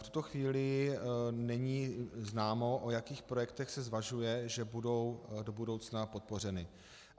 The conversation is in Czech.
V tuto chvíli není známo, o jakých projektech se zvažuje, že budou do budoucna podpořeny.